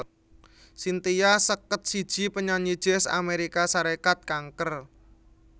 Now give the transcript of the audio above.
Cynthia seket siji panyanyi Jazz Amérika Sarékat kanker